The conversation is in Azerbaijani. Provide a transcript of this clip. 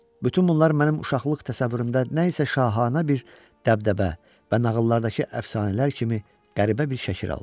Bütün bunlar mənim uşaqlıq təsəvvürümdə nəsə şahanə bir dəbdəbə və nağıllardakı əfsanələr kimi qəribə bir şəkil alırdı.